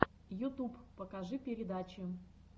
ютуб покажи передачи